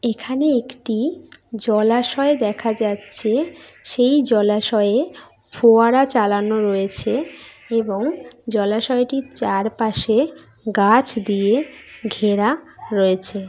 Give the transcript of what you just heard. এখানে একটি জলাশয় দেখা যাচ্ছে সেই জলাশয়ে ফোয়ারা চালানো রয়েছে এবং জলাশয়টির চারপাশে গাছ দিয়ে ঘেরা রয়েছে।